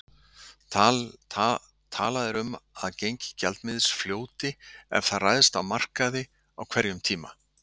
Talað er um að gengi gjaldmiðils fljóti ef það ræðst á markaði á hverjum tíma.